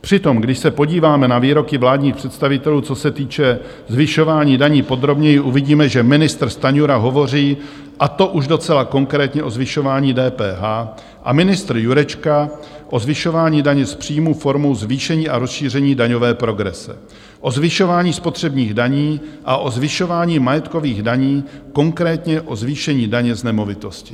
Přitom když se podíváme na výroky vládních představitelů, co se týče zvyšování daní, podrobněji, uvidíme, že ministr Stanjura hovoří, a to už docela konkrétně, o zvyšování DPH a ministr Jurečka o zvyšování daně z příjmů formou zvýšení a rozšíření daňové progrese, o zvyšování spotřebních daní a o zvyšování majetkových daní, konkrétně o zvýšení daně z nemovitostí.